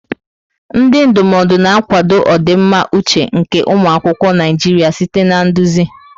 Ndị ndụmọdụ na-akwado ọdịmma uche nke ụmụ akwụkwọ Naijiria site na nduzi.